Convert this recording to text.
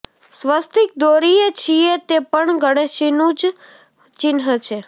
સ્વસ્તીક દોરીએ છીએ તે પણ ગણેશજીનું જ ચિન્હ છે